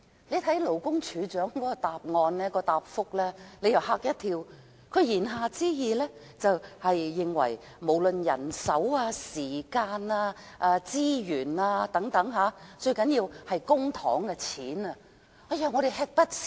我看到勞工處處長的答覆，真的嚇了一跳，他言下之意，就是不論在人手、時間、資源等方面——最重要是公帑——他們均會吃不消。